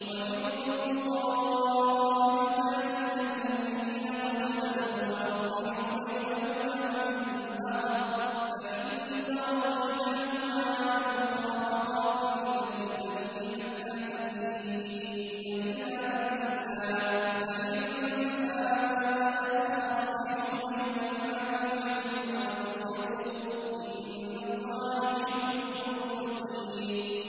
وَإِن طَائِفَتَانِ مِنَ الْمُؤْمِنِينَ اقْتَتَلُوا فَأَصْلِحُوا بَيْنَهُمَا ۖ فَإِن بَغَتْ إِحْدَاهُمَا عَلَى الْأُخْرَىٰ فَقَاتِلُوا الَّتِي تَبْغِي حَتَّىٰ تَفِيءَ إِلَىٰ أَمْرِ اللَّهِ ۚ فَإِن فَاءَتْ فَأَصْلِحُوا بَيْنَهُمَا بِالْعَدْلِ وَأَقْسِطُوا ۖ إِنَّ اللَّهَ يُحِبُّ الْمُقْسِطِينَ